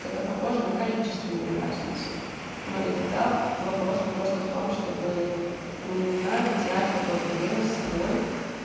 это похоже на количественную разницу но и тогда вопрос просто в том чтобы ну не знаю не терять какое-то время с собой